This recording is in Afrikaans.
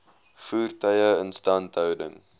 voertuie instandhouding